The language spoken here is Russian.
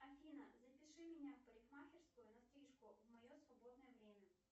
афина запиши меня в парикмахерскую на стрижку в мое свободное время